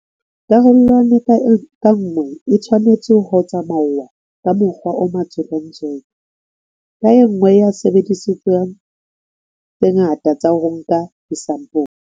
Karolwana ka nngwe e tshwnetse ho tsamauwa ka mokgwa o matswedintsweke ka e nngwe ya disebediswa tse ngata tsa ho nka disampole.